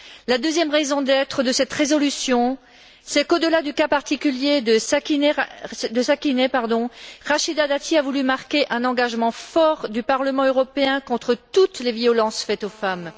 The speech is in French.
La deuxième raison d'être de cette résolution c'est qu'au delà du cas particulier de Sakineh, Rachida Dati a voulu marquer un engagement fort du Parlement européen contre toutes les violences faites aux femmes.